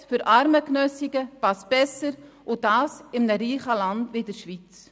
«Gesetz für Armengenössige» passt besser – und dies in einem reichen Land wie der Schweiz?